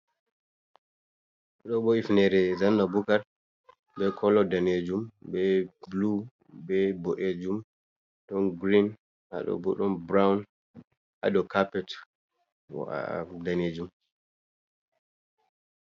Ɗo bo hifnere zanna bukar, be kolo danejum be blu be boɗejum, ɗon girin hado bo ɗon burown hadou carpet wa danejum.